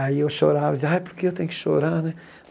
Aí eu chorava e dizia, ai por que eu tenho que chorar, né?